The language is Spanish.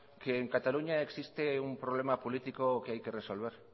que en cataluña existe un problema político que hay que resolver